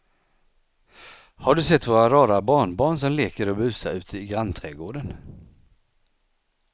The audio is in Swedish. Har du sett våra rara barnbarn som leker och busar ute i grannträdgården!